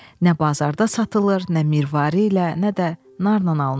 Nə bazarda satılır, nə mirvari ilə, nə də narla alınır.